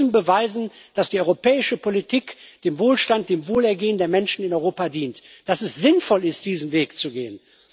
Wir müssen beweisen, dass die europäische Politik dem Wohlstand, dem Wohlergehen der Menschen in Europa dient, dass es sinnvoll ist, diesen Weg zu gehen.